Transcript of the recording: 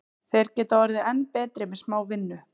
Þeir geta orðið enn betri með smá vinnu.